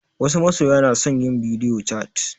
Wasu masoya na son yin bidio cat